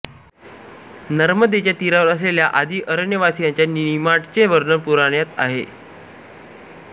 नर्मदेच्या तीरावर असलेल्या आदि अरण्यवासीयांच्या निमाडाचे वर्णन पुराणात आहे